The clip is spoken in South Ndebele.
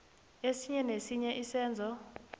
esinye nesinye isenzo